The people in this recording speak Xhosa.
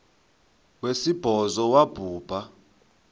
wesibhozo wabhu bha